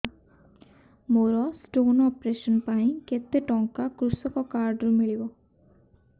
ମୋର stone operation ପାଇଁ କେତେ ଟଙ୍କା କୃଷକ କାର୍ଡ ରୁ ମିଳିବ